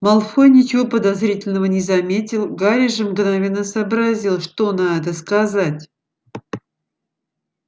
малфой ничего подозрительного не заметил гарри же мгновенно сообразил что на это сказать